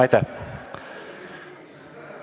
Aitäh!